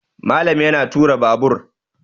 Malam yana tura Babur